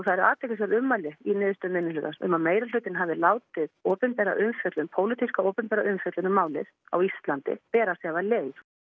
eru athyglisverð ummæli í niðurstöðu minnihlutans um að meirihlutinn hafi látið opinbera umfjöllun pólitíska opinbera umfjöllun um málið á Íslandi bera sig af leið